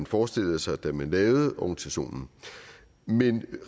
forestillede sig da man lavede organisationen men